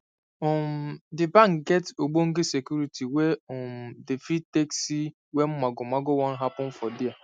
um d bank get ogbonge security wey um dey fit take see wen mago mago wan happen for there